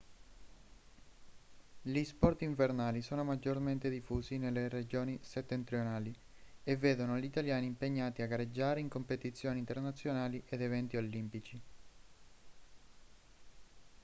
gli sport invernali sono maggiormente diffusi nelle regioni settentrionali e vedono gli italiani impegnati a gareggiare in competizioni internazionali ed eventi olimpici